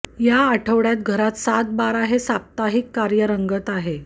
या आठवड्यात घरात सात बारा हे साप्ताहिक कार्य रंगत आहे